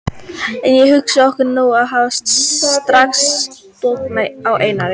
En hugsum okkur nú að ég hefði strax stokkið á Einar